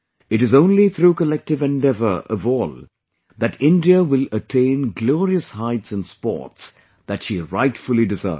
It is only through collective endeavour of all that India will attain glorious heights in Sports that she rightfully deserves